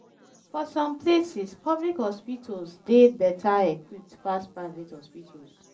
for some places public hospitals dey better equipped pass private hospitals